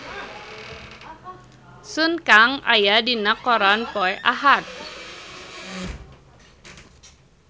Sun Kang aya dina koran poe Ahad